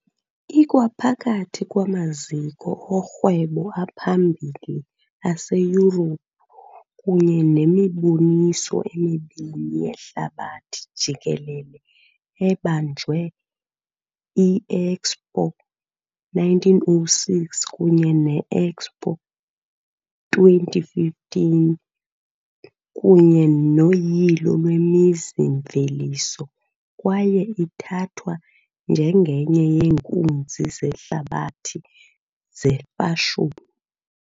Ikwaphakathi kwamaziko orhwebo aphambili aseYurophu, kunye nemiboniso emibini yehlabathi jikelele ebanjwe - I-Expo 1906 kunye ne-Expo 2015, kunye noyilo lwemizi-mveliso, kwaye ithathwa njengenye yeenkunzi zehlabathi zefashoni.